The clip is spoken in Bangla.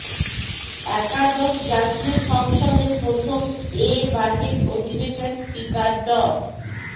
একাদশ জাতীয় সংসদের প্রথম এ বাজেট অধিবেশন স্পিকার ড